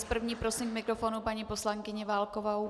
S první prosím k mikrofonu paní poslankyni Válkovou.